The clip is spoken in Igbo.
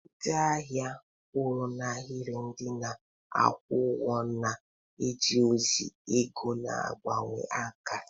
Ndị ahịa kwụ n'ahịrị, ndị na-akwụ ụgwọ na-eje ozi, ego na-agbanwe aka.